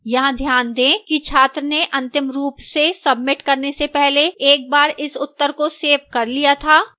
यहां ध्यान दें कि छात्र ने अंतिम रूप से सबमिट करने से पहले एक बार इस उत्तर को सेव कर लिया था